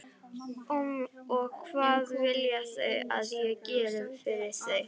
Og hvað vilja þau að ég geri fyrir þau?